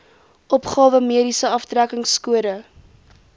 opgawe mediese aftrekkingskode